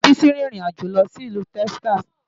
Ìyá Bísí rin ìrìn àjò lọ sí ìlú Texas.